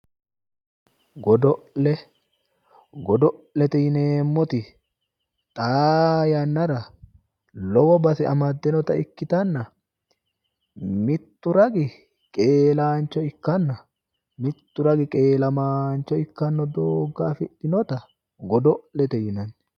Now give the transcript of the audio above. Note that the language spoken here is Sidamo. Godo'le godo'lete yineemmoti xaa yannara lowo base amadinota ikkitanna mittu ragi qeelaancho ikkanna mittu ragi qeelamaancho ikkannota amaddino dooga afidhinota godo'lete yinanni.